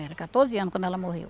Era quatorze anos quando ela morreu.